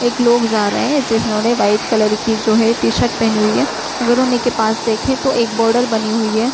एक लोग जा रहे है| जिन्होंने व्हाइट कलर की जो है टी-शर्ट पहनी हुई है। अगर उन्ही के पास देखें तो एक बॉर्डर बनी हुई है।